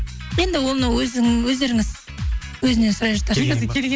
енді оны өздеріңіз өзінен сұрай жатарсыз